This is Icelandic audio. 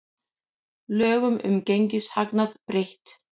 Lögum um gengishagnað breytt